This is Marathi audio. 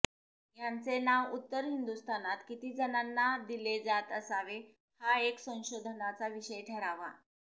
यांचे नाव उत्तर हिंदुस्थानात किती जणांना दिले जात असावे हा एक संशोधनाचा विषय ठरावा